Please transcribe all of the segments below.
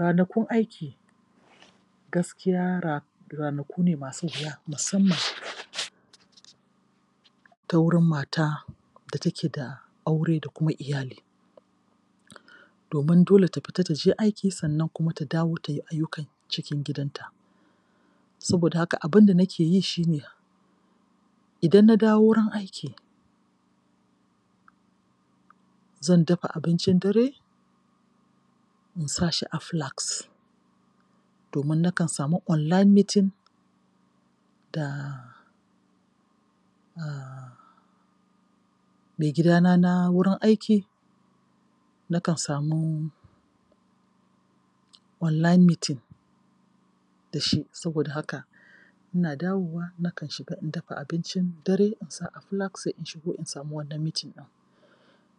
Ranakun aiki gaskiya ranaku ne masu wuya musamman ta wuri mata da take da aure da kuma iyali domin dole ta fita ta je aiki sannan ta dawo ta yi ayyukan cikin gidanta Saboda haka, abin da nake yi shi ne, idan na dawo wurin aiki Zan dafa abincin dare, in sa shi a flask domin nakan samu online meeting da maigidana na wurin aiki. Nakan samu online meeting da shi. Saboda haka, ina dawowa nakan shiga in dafa abincin dare, in sa a flask sai in shigo in samu wannan meeting ɗin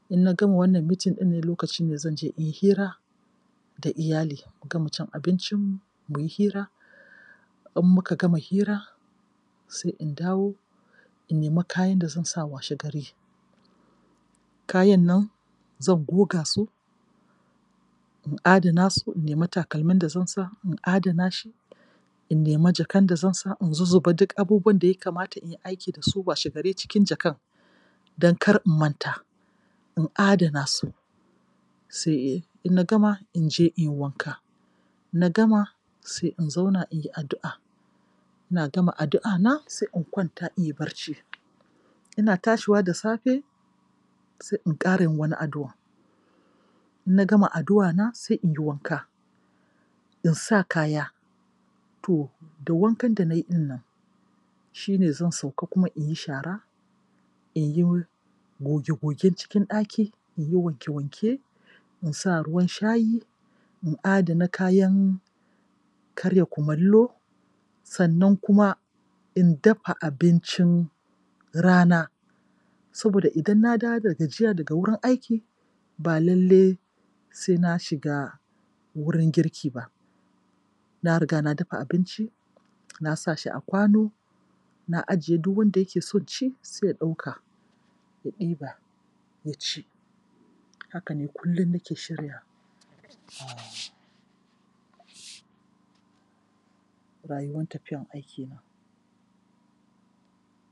In na gama wannan meeting ɗin lokacin ne zan je in yi hira da iyali, mu gama cin abincinmu, mu yi hira. In muka gama hira sai in dawo in nemi kayan da zan sa washegari. Kayan nan zan goga su in adana su, in nemi takalmin da zan sa, in adana shi, in nemi jakan da zan sa, in zuzzuba duk abubuwan da ya kamata in aiki da su washegari cikin jakan. don kar in manta, in adana su. Sai in na gama in je in yi wanka. In na gama sai in zauna in yi addu'a. Ina gama addu'ana sai in kwanta in yi barci. Ina tashiwa da safe sai in ƙara yin wani addu'an In na gama addu'ana sai in yi wanka, in sa kaya. To da wankan da na yi ɗin nan, shi ne zan sauka kuma in yi shara in yi goge-gogen cikin ɗaki, in yi wanke-wanke, in sa ruwa shayi, in adana kayan karya kumallo. Sannan kuma in dafa abincin rana saboda idan na dawo da gajiya daga wurin aiki ba lalle sai na shiga wurin girki ba. Na riga na dafa abinci na sa shi a kwano Na ajiye duk wanda yake son ci sai ya ɗauka, ya ɗiba, ya ci. Haka ne kullum nake shiryawa. rayuwan tafiyan aikina.